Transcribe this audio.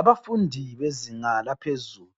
Abafundi bezinga laphezulu